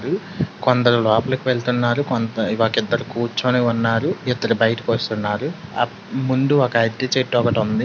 ఇది కొందరు లోపలికి వెళ్తున్నారు కొంత ఒకిద్దరు కూర్చొని ఉన్నారు ఇద్దరు బైటికి వస్తున్నారు ఆ ముందు ఒక అరటి చెట్టు ఒకటి ఉంది.